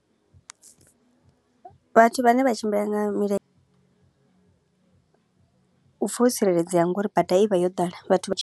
Vhathu vhane vha tshimbila nga milenzhe u pfa wo tsireledzea nga uri bada i vha yo ḓala vhathu vha tshi.